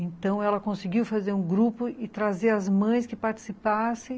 Então, ela conseguiu fazer um grupo e trazer as mães que participassem